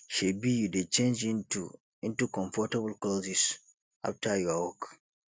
shebi you dey change into into comfortable clothes after your work